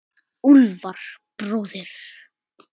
Úlfar bróðir.